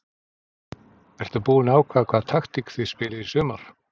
Ertu búinn að ákveða hvaða taktík þið spilið í sumar?